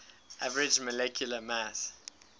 average molecular mass